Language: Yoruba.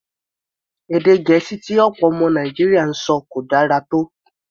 Èdè Gẹ̀ẹ́sì tí ọ̀pọ̀ ọmọ Nàìjíríà ń sọ kò dára tó.